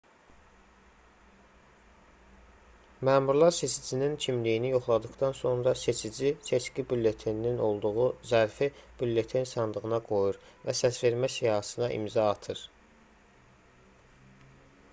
məmurlar seçicinin kimliyini yoxladıqdan sonra seçici seçki bülleteninin olduğu zərfi bülleten sandığına qoyur və səsvermə siyahısına imza atır